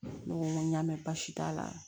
Ne ko n ko y'a mɛn basi t'a la